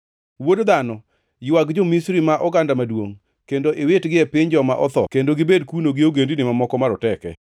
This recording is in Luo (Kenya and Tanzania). “Wuod dhano, ywag jo-Misri ma oganda maduongʼ, kendo iwitgi e piny joma otho kendo gibed kuno gi ogendini mamoko maroteke.